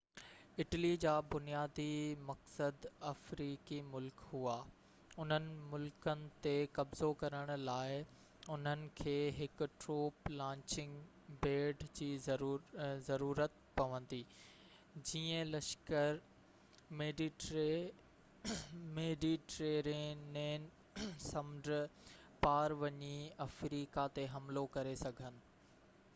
Italy جا بنيادي مقصد افريقي ملڪ هئا اُنهن ملڪن تي قبضو ڪرڻ لاءِ انهن کي هڪ ٽروپ لانچنگ پيڊ جي ضرورت پوندي جيئن لشڪر ميڊيٽيرينين سمنڊ پار وڃي افريقا تي حملو ڪري سگهن